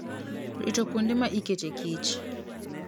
Rito kuonde ma iketee kich.